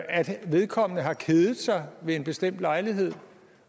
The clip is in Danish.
at vedkommende har kedet sig ved en bestemt lejlighed